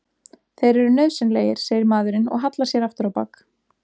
Þeir eru nauðsynlegir, segir maðurinn og hallar sér aftur á bak.